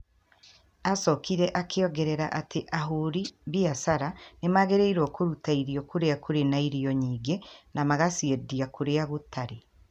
Aacokire akĩongerera atĩ ahũri biacara nĩ magĩrĩirũo kũruta irio kũrĩa kũrĩ na irio nyingĩ na magaciendia kũrĩa gũtarĩ.